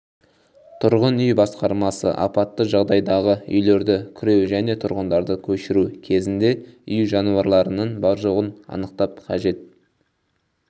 тұрғын үй басқармасы апатты жағдайдағы үйлерді күреу және тұрғындарды көшіру кезінде үй жануарларының бар-жоғын анықтап қажет